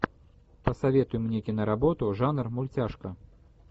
посоветуй мне киноработу жанр мультяшка